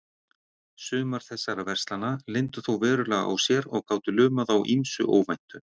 Sumar þessara verslana leyndu þó verulega á sér og gátu lumað á ýmsu óvæntu.